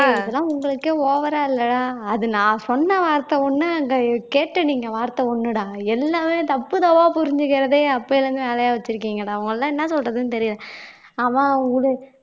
இதெல்லாம் உங்களுக்கே over ஆ இல்ல அது நான் சொன்ன வார்த்தை ஒண்ணு அந்த கேட்ட நீங்க வார்த்தை ஒண்ணுடா எல்லாமே தப்பு தப்பா புரிஞ்சுக்கிறதே அப்பையில இருந்து வேலையா வச்சிருக்கீங்கடா உங்கள எல்லாம் என்ன சொல்றதுன்னு தெரியல அவன்